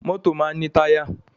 Mọ́tọ̀ máa ń ní táyà.